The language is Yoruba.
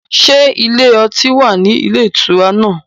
Ṣé ilé ọtí wà ní ilé ìtura náà?